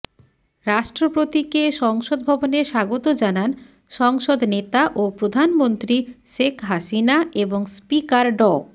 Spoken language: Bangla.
রাষ্ট্রপতিকে সংসদ ভবনে স্বাগত জানান সংসদ নেতা ও প্রধানমন্ত্রী শেখ হাসিনা এবং স্পিকার ড